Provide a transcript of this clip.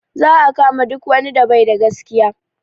Za a kama duk wani da baida da gaskiya